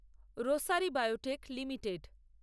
rosary Biotech limited